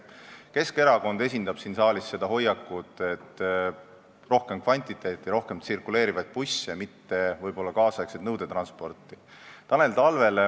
Keskerakond esindab siin saalis seda hoiakut, et rohkem kvantiteeti ja tsirkuleerivaid busse, mitte niivõrd nüüdisaegset nõudetransporti.